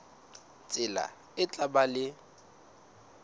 tsela e tla ba le